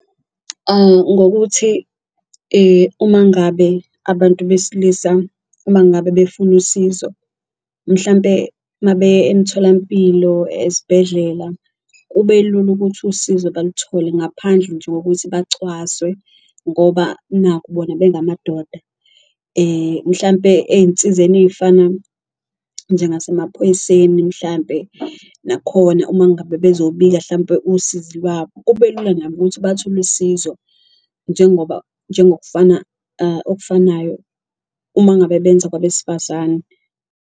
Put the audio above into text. Ngokuthi uma ngabe abantu besilisa uma ngabe befuna usizo mhlampe mabeya emtholampilo ezibhedlela kube lula ukuthi usizo baluthole, ngaphandle nje kokuthi bacwaswe ngoba naku bona bengamadoda. Mhlampe eyinsizeni ey'fana njengasemaphoyiseni mhlampe nakhona uma ngabe bezobika hlampe usizi lwabo, kube lula nabo ukuthi bathole usizo njengoba njengokufana okufanayo uma ngabe benza kwabesifazane.